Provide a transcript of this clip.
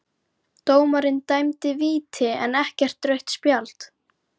Dómarinn dæmdi víti en ekkert rautt spjald?